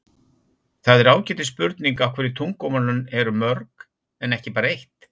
það er ágætis spurning af hverju tungumálin eru mörg en ekki bara eitt